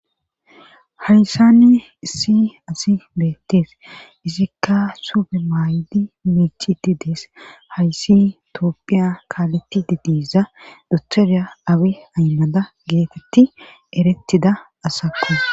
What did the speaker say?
Hayssanni issi asi beettees izikka sube maaydi mechi didees hayssi toopphiya kaaletti didiza dutherya awi aynnada geetetti erettida asakkos.